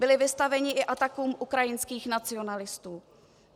Byli vystaveni i atakům ukrajinských nacionalistů.